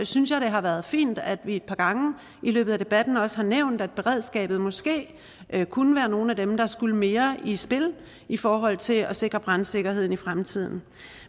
synes jeg det har været fint at vi et par gange i løbet af debatten også har nævnt at beredskabet måske kunne være nogle af dem der skulle mere i spil i forhold til at sikre brandsikkerheden i fremtiden